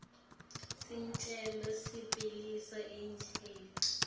sicelo sekubhalisa iejenti